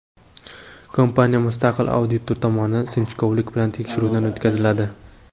Kompaniya mustaqil auditor tomonidan sinchkovlik bilan tekshiruvdan o‘tkaziladi.